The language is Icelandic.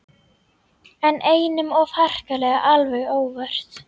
En einum of harkalega alveg óvart.